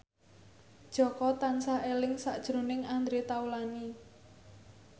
Jaka tansah eling sakjroning Andre Taulany